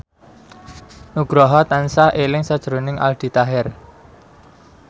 Nugroho tansah eling sakjroning Aldi Taher